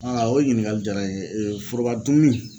o ɲininkali jara n ye foroba dumuni.